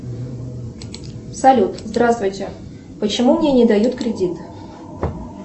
салют здравствуйте почему мне не дают кредит